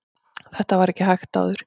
þetta var ekki hægt áður